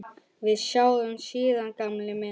Við sjáumst síðar gamli minn.